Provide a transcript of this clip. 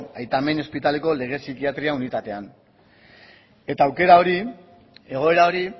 aita menni ospitaleko lege psikiatria unitatean eta aukera hori egoera hori